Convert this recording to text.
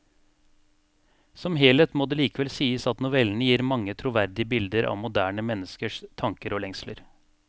Som helhet må det likevel sies at novellene gir mange troverdige bilder av moderne menneskers tanker og lengsler.